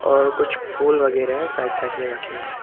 और कुछ फूल वगैरा है साइट साइट में रखें हुए --